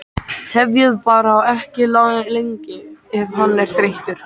Tefjið bara ekki lengi ef hann er þreyttur